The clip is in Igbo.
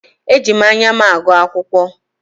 Eji m anya m agụ akwụkwọ.